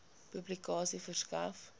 publikasie verskaf